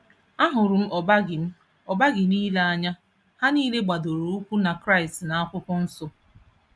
Ahụrụ m ọba gị m ọba gị niile n'anya. Ha niile gbadoro ụkwụ na Kraịst na Akwụkwọ Nsọ.